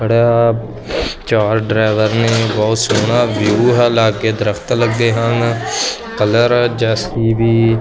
ਬੜਾ ਚਾਰ ਡਰਾਇਵਰ ਨੇ ਬਹੁਤ ਸੋਹਣਾ ਵਿਊ ਹੈ ਲਾਗੇ ਦਰੱਖਤ ਲਗੇ ਹਨ ਕਲਰ ਜੇ_ਸੀ_ਬੀ--